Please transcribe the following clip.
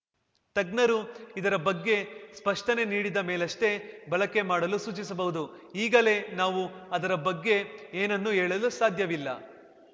ತಜ್ಞರು ಇದರ ಬಗ್ಗೆ ಸ್ಪಷ್ಟನೆ ನೀಡಿದ ಮೇಲಷ್ಟೇ ಬಳಕೆ ಮಾಡಲು ಸೂಚಿಸಬಹುದು ಈಗಲೇ ನಾವು ಅದರ ಬಗ್ಗೆ ಏನನ್ನೂ ಹೇಳಲು ಸಾಧ್ಯವಿಲ್ಲ